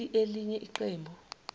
leli elinye iqembu